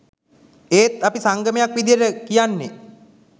ඒත් අපි සංගමයක් විදියට කියන්නේ